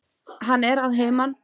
Hann er að heiman.